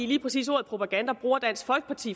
lige præcis ordet propaganda bruger dansk folkeparti